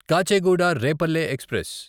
Kacheguda Repalle express